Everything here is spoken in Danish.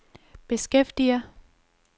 beskæftiger